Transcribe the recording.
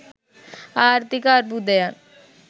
ආර්ථික අර්බුදයන්